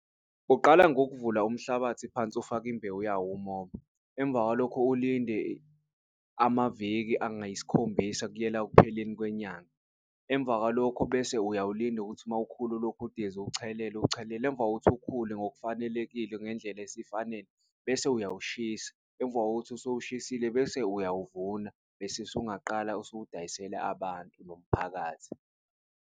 Kuqala ngokuvula umhlabathi phansi ufake imbewu yawo umoba, emva kwalokho ulinde amaviki angayisikhombisa kuyela ekupheleni kwenyanga. Emva kwalokho bese uyawulinda ukuthi mawukhula ulokhu udize uwuchelele, uwuchelele emva kokuthi ukhule ngokufanelekile ngendlela esifanele bese uyawushisa. Emva kokuthi usuwushisile bese uyawuvuna bese usungaqala ukuwudayisela abantu bomphakathi.